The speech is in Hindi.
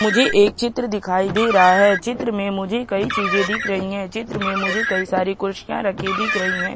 मुझे एक चित्र दिखाई दे रहा है चित्र में मुझे कई चीजें दिख रहीं हैं चित्र मैं मुझे कई सारी कुर्सियां रखी दिख रही है।